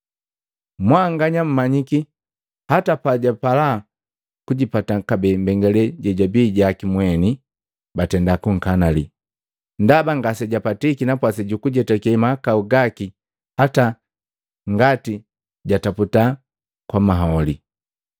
Mwanganya mmanyiki hata pajapala kujipata kabee mbengalela jejabii jaki mweni, batenda kukanali, ndaba ngasejapatiki napwasi juku jetake mahakau gaki hata ngati jataputa kwa maholi.